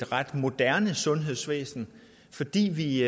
ret moderne sundhedsvæsen fordi vi